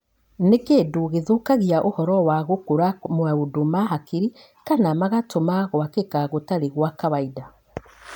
Nĩ kĩndũ gĩthũkagia ũhoro wa gũkũra maũndũ ma hakiri kana magatũma gwakĩka gũtarĩ gwa kawaida.